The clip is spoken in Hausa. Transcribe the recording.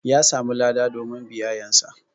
Ƴa samu lada domin biyayan sa.